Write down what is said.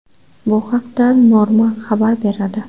Bu haqda Norma xabar beradi .